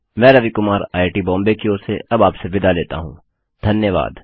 मैं रवि कुमार आईआईटीबॉम्बे की ओर से अब आपसे विदा लेता हूँ धन्यवाद